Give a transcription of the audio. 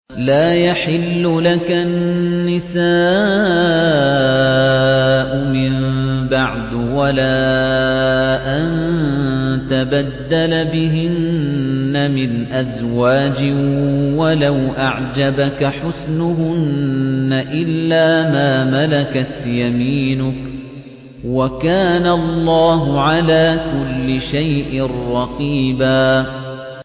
لَّا يَحِلُّ لَكَ النِّسَاءُ مِن بَعْدُ وَلَا أَن تَبَدَّلَ بِهِنَّ مِنْ أَزْوَاجٍ وَلَوْ أَعْجَبَكَ حُسْنُهُنَّ إِلَّا مَا مَلَكَتْ يَمِينُكَ ۗ وَكَانَ اللَّهُ عَلَىٰ كُلِّ شَيْءٍ رَّقِيبًا